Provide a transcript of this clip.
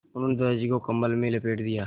उन्होंने दादाजी को कम्बल में लपेट दिया